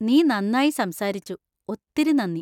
നീ നന്നായി സംസാരിച്ചു! ഒത്തിരി നന്ദി!